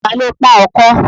Ta ló pọ́n ọkọ́?